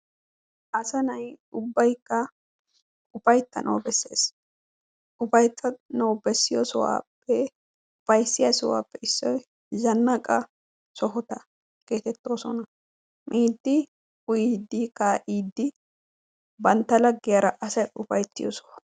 Asa na'ay ubbaykka ufayttanawu bessees. ufayttanawu bessiyoo sohuwappe issoy zannaqa sohota getettoosona. miiddi uyiidi kaa'iddi bantta laggiyaara asay sohuwaa.